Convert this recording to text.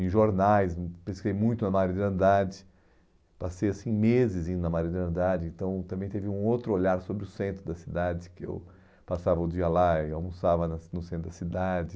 Em jornais, hum pesquisei muito na Mário de Andrade, passei assim meses indo na Mário de Andrade, então também teve um outro olhar sobre o centro da cidade, que eu passava o dia lá e almoçava na no centro da cidade.